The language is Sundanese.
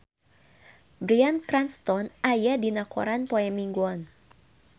Bryan Cranston aya dina koran poe Minggon